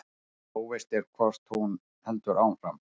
Óvíst er hvort hún heldur áfram